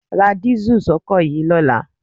Ra dísù sọ́kọ̀ yìí lọ́la.